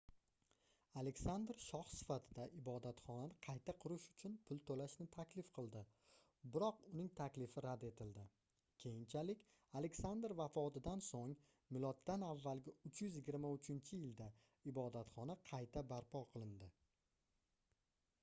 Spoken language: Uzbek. aleksandr shoh sifatida ibodatxonani qayta qurish uchun pul to'lashni taklif qildi biroq uning taklifi rad etildi. keyinchalik aleksandr vafotidan so'ng m.a.323-yilda ibodatxona qayta barpo qilindi